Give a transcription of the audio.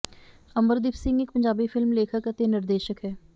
ਅੰਬਰਦੀਪ ਸਿੰਘ ਇੱਕ ਪੰਜਾਬੀ ਫਿਲਮ ਲੇਖਕ ਅਤੇ ਨਿਰਦੇਸ਼ਕ ਹੈ